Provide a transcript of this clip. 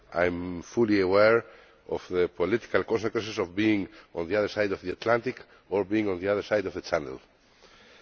I am fully aware of the political consequences of being on the other side of the Atlantic or being on the other side of the Channel.